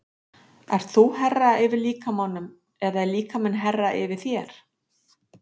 Ert þú herra yfir líkamanum eða líkaminn herra yfir þér?